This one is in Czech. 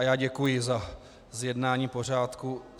A já děkuji za zjednání pořádku.